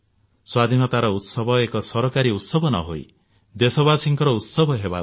ସ୍ୱାଧୀନତାର ଉତ୍ସବ ଏକ ସରକାରୀ ଉତ୍ସବ ନହୋଇ ଦେଶବାସୀଙ୍କର ଉତ୍ସବ ହେବା ଉଚିତ